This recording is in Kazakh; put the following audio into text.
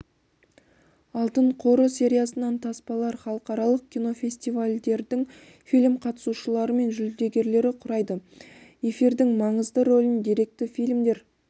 алтын қоры сериясынан таспалар халықаралық кинофестивальдердің фильм-қатысушылары мен жүлдегерлері құрайды эфирдің маңызды рөлін деректі фильмдер